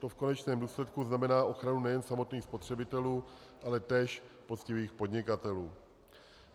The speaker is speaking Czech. To v konečném důsledku znamená ochranu nejen samotných spotřebitelů, ale též poctivých podnikatelů.